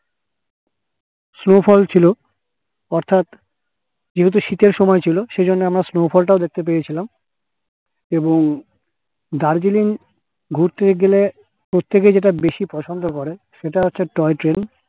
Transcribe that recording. snow fall ছিল অর্থাৎ যেহেতু শীতের সময়ছিল সেহেতু আমরা snow fall তও দেখতে পেয়েছিলাম এবং দার্জিলিং ঘুরতে গেলে প্রত্যেকে যেটা পছন্দ করে সেটা হচ্ছে toy train